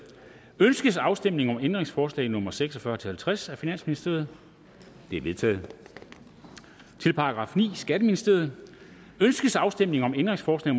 ønskes afstemning om ændringsforslag nummer seks og fyrre til halvtreds af finansministeren de er vedtaget til § niende skatteministeriet ønskes afstemning om ændringsforslag